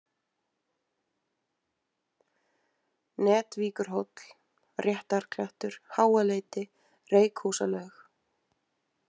Netvíkurhóll, Réttarklettur, Háaleiti, Reykhúsalaug